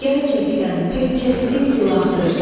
Gərçəkdən pək kəskin silahdır.